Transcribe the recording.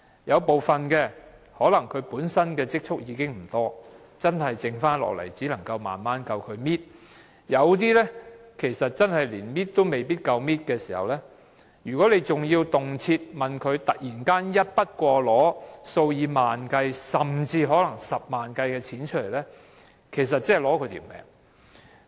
有部分長者本身的積蓄可能不多，只夠他們慢慢"搣"，另一些可能連"搣"也不夠，如果還動輒要他們突然支付一筆過數以萬元計，甚至是十萬元計的款項，這等於要了他們的命。